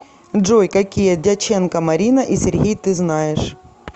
джой какие дяченко марина и сергей ты знаешь